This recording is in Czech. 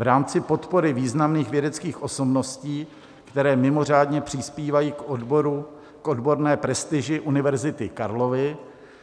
V rámci podpory významných vědeckých osobností, které mimořádně přispívají k odborné prestiži Univerzity Karlovy,